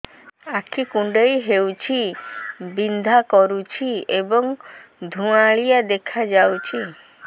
ଆଖି କୁଂଡେଇ ହେଉଛି ବିଂଧା କରୁଛି ଏବଂ ଧୁଁଆଳିଆ ଦେଖାଯାଉଛି